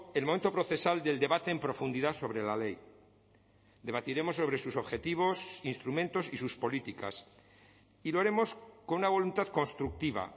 el momento procesal del debate en profundidad sobre la ley debatiremos sobre sus objetivos instrumentos y sus políticas y lo haremos con una voluntad constructiva